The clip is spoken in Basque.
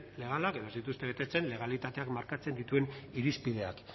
legalak edo ez dituzten betetzen legalitateak markatzen dituen irizpideak